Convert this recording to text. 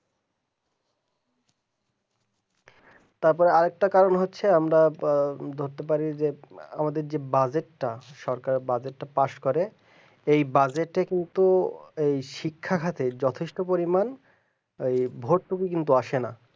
তারপর আর একটা কারণ হচ্ছে আমরা ধরতে পারি যে আমাদের যে বাজেটটা সরকারের বাজেটটা পাস করে এই বাজেটে কিন্তু ওই শিক্ষার হাতে যথেষ্ট পরিমাণ এই ভর্তি কি কিন্তু আসে না